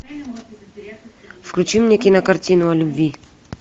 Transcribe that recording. включи мне кинокартину о любви